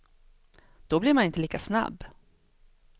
Då blir man inte lika snabb.